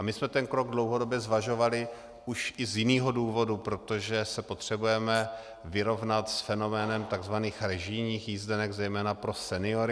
A my jsme ten krok dlouhodobě zvažovali už i z jiného důvodu, protože se potřebujeme vyrovnat s fenoménem tzv. režijních jízdenek zejména pro seniory.